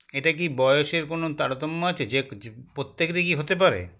এটাকি বয়সের কোনো তারতম্য আছে যেকযি প্রত্যেকেরই কী হতে পারে